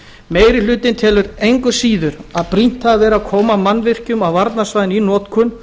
meiri hlutinn telur engu að síður að brýnt hafi verið að koma mannvirkjum á varnarsvæðinu í notkun